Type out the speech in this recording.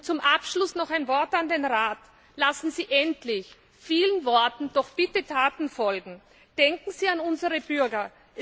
Zum Abschluss noch ein Wort an den Rat Lassen Sie endlich vielen Worten doch bitte Taten folgen! Denken Sie an unsere Bürger.